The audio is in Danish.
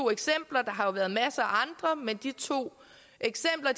eksempler men de to eksempler